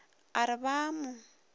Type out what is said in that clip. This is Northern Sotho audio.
a re ba a mo